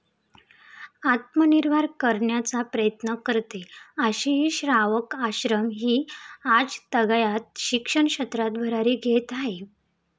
आत्मनिर्भर करण्याचा प्रयत्न करते, अशीही श्रावक आश्रम हि आजतागायत शिक्षण क्षेत्रात भरारी घेत आहे ।